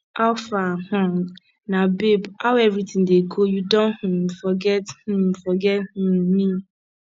how far um na babe how everything dey go you don um forget um forget um me